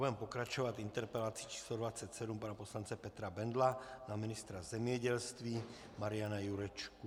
Budeme pokračovat interpelací číslo 27 pana poslance Petra Bendla na ministra zemědělství Mariana Jurečku.